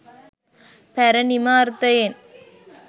පැරණිම අර්ථයෙන්